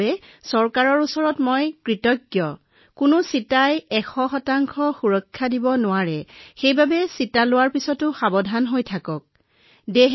আমি আমাৰ চৰকাৰৰ ওচৰত এটা প্ৰতিষেধক উপলব্ধ হোৱাৰ বাবে গৌৰৱান্বিত আৰু মই ইতিমধ্যে মোৰ নিজৰ অভিজ্ঞতাৰ সৈকে প্ৰতিষেধক গ্ৰহণ কৰিছো মই ভাৰতৰ নাগৰিকসকলক কব বিচাৰিছো যে কোনো প্ৰতিষেধকেই লগে লগে ১০০ সুৰক্ষা প্ৰদান নকৰে